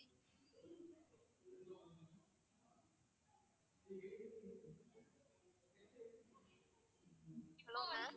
hello ma'am